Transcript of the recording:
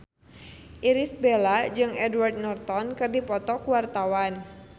Irish Bella jeung Edward Norton keur dipoto ku wartawan